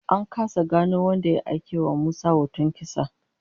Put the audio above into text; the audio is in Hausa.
An kasa gano wanda ya aikewa Musa da hoton kisa